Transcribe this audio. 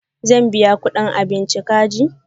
Zan biya kuɗin abinchi kaji.